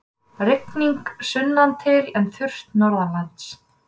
Rigning sunnantil en þurrt norðanlands